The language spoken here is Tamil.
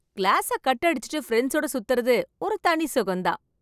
கிளாஸ கட் அடிச்சுட்டு பிரண்ட்ஸோட சுத்துறது ஒரு தனி சொகம் தான்